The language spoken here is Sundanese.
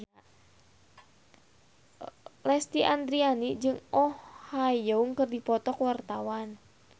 Lesti Andryani jeung Oh Ha Young keur dipoto ku wartawan